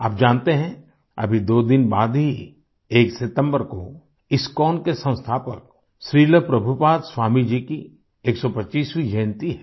आप जानते हैं अभी दो दिन बाद ही एक सितम्बर को इस्कोन के संस्थापक श्रील प्रभुपाद स्वामी जी की 125वीं जयंती है